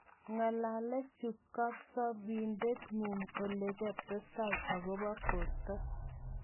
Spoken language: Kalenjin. ngolalchi kasopindet nguung olekastai akopa porto